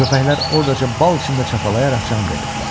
Köpəklər ordaca bal içində çapalayaraq can verirdilər.